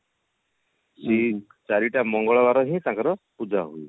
ସେ ଚାରିଟା ମଙ୍ଗଳବାର ହୁଏ ତାଙ୍କର ପୂଜା